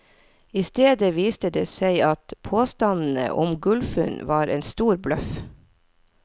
I stedet viste det seg at påstandene om gullfunn var en stor bløff.